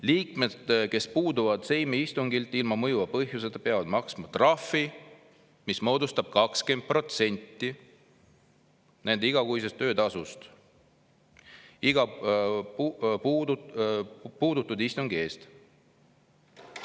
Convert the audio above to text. Liikmed, kes puuduvad Seimi istungilt ilma mõjuva põhjuseta, peavad maksma trahvi, mis moodustab 20% nende igakuisest töötasust, iga puudutud istungi eest.